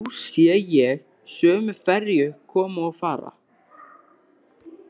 Nú sé ég sömu ferju koma og fara.